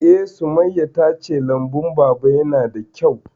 Eh, Sumayya ta ce lambun Baba ya na da kyau